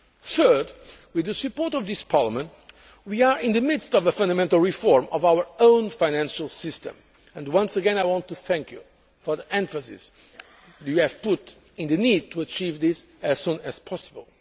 Third, with the support of this Parliament, we are in the midst of a fundamental reform of our own financial system, and once again, I want to thank you for the emphasis you have put on the need to achieve this as soon as possible.